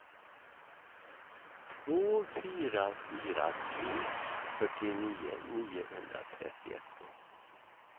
två fyra fyra tre fyrtionio niohundratrettioett